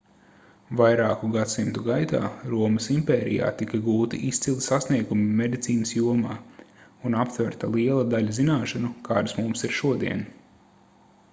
vairāku gadsimtu gaitā romas impērijā tika gūti izcili sasniegumi medicīnas jomā un aptverta liela daļa zināšanu kādas mums ir šodien